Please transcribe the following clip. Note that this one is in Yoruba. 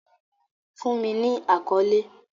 Fun mi ni akọle!